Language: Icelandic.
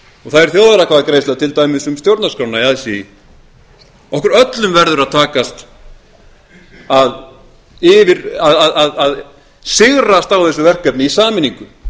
og það er þjóðaratkvæðagreiðsla til dæmis um stjórnarskrána í aðsigi okkur öllum verður að takast að sigrast á þessu verkefni í sameiningu